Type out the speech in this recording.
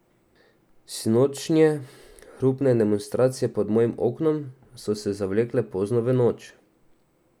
Sinočnje hrupne demonstracije pod mojim oknom so se zavlekle pozno v noč.